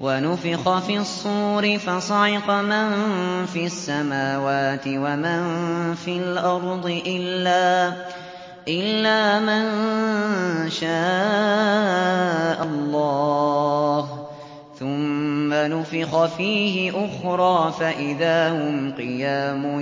وَنُفِخَ فِي الصُّورِ فَصَعِقَ مَن فِي السَّمَاوَاتِ وَمَن فِي الْأَرْضِ إِلَّا مَن شَاءَ اللَّهُ ۖ ثُمَّ نُفِخَ فِيهِ أُخْرَىٰ فَإِذَا هُمْ قِيَامٌ